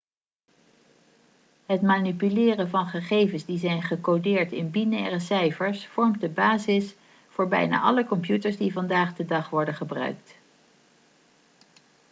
het manipuleren van gegevens die zijn gecodeerd in binaire cijfers vormt de basis voor bijna alle computers die vandaag de dag worden gebruikt